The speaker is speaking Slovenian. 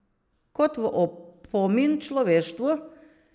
Kot v opomin človeštvu!